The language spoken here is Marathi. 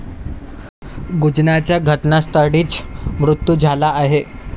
गुंजनचा घटनास्थळीच मृत्यू झाला आहे.